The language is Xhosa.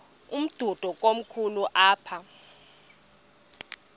umdudo komkhulu apha